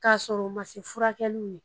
K'a sɔrɔ o ma furakɛli ye